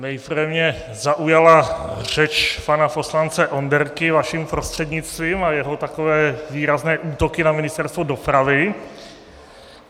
Nejprve mě zaujala řeč pana poslance Onderky vaším prostřednictvím a jeho takové výrazné útoky na Ministerstvo dopravy.